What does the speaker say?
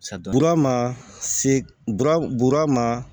Bura ma se bura ma